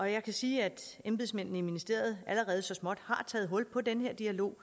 jeg kan sige at embedsmændene i ministeriet allerede så småt har taget hul på den her dialog